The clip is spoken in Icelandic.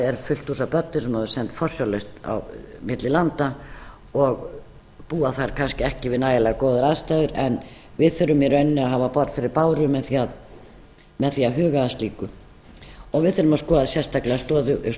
er fullt hús af börnum sem hafa verið send forsjárlaust á milli landa og búa þar kannski ekki við nægilega góðar aðstæður en við þurfum í rauninni að hafa borð fyrir báru með því að huga að slíku og við þurfum að skoða sérstaklega stöðu